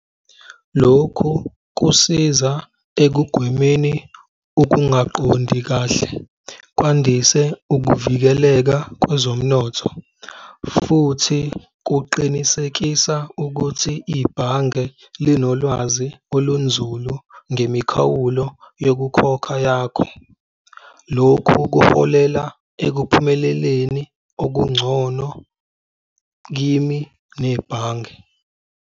Lokhu kusiza ekugwemeni ukungaqondi kahle kwandise ukuvikeleka kwezomnotho, futhi kuqinisekisa ukuthi ibhange linolwazi olunzulu ngemikhawulo yokukhokha yakho. Lokhu kuholela ekuphumeleleni okungcono kimi nebhange.